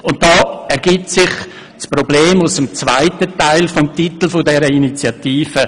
Und hier ergibt sich das Problem aus dem zweiten Teil des Titels dieser Initiative: